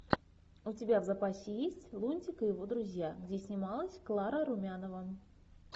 у тебя в запасе есть лунтик и его друзья где снималась клара румянова